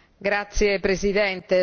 Signora Presidente, onorevoli colleghi,